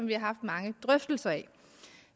vi haft mange drøftelser af